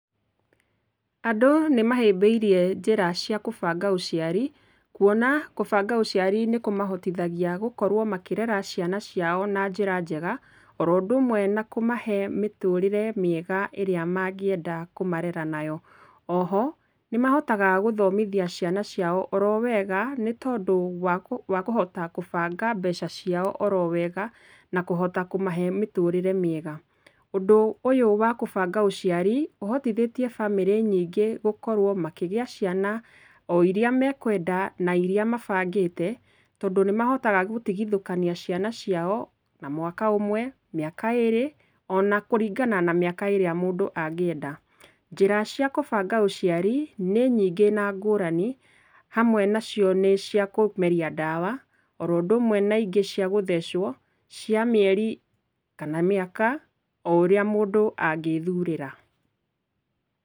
Andũ nĩmahĩmbĩirie njĩra cia kũbanga ũciari kũona kũbanga ũciari nĩkũmahotithagia gũkorwo makĩrera ciana ciao na njĩra njega, oro ũndũ ũmwe na kũmahe mĩtũrĩre mĩega ĩrĩa mangĩenda kũmarera nayo. Oho nĩmahotaga gũthomithia ciana ciao oro wega, nĩ tondũ wakũ, wakũhota kũbanga mbeca ciao oro wega na kũhota kũmahe mĩtũrĩre mĩega. Ũndũ ũyũ wa kũbanga ũciari ũhotithĩtie bamĩrĩ nyingĩ gũkorwo makĩgĩa ciana o irĩa mekwenda na irĩa mabangĩte, tondũ nĩmahotaga gũtigithũkania ciana ciao na mwaka ũmwe, mĩaka ĩrĩ ona kũringana na mĩaka ĩrĩa mũndũ angĩenda. Njĩra cia kũbanga ũciari nĩ nyingĩ na ngũrani, hamwe nacio nĩ cia kũmeria ndawa, oro ũndũ ũmwe na ingĩ cia gũthecwo, cia mĩeri kana mĩaka, o ũrĩa mũndũ angĩthurĩra.